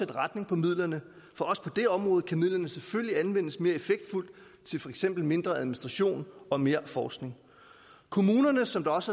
retning for midlerne for også på det område kan midlerne selvfølgelig anvendes mere effektfuldt til for eksempel mindre administration og mere forskning kommunerne som også